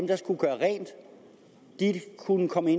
der skulle gøre rent kunne komme